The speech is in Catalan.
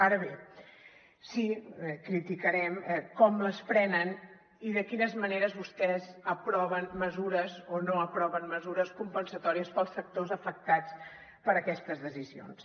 ara bé sí que criticarem com les prenen i de quines maneres vostès aproven mesures o no aproven mesures compensatòries per als sectors afectats per aquestes decisions